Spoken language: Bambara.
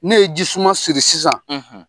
Ne ye ji suma siri sisan